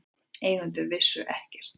Eigendur vissu ekkert